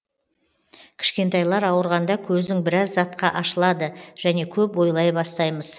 кішкентайлар ауырғанда көзің біраз затқа ашылады және көп ойлай бастаймыз